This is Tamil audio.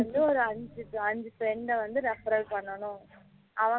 ஒரு அஞ்சு friend வந்து referral பண்ணனும்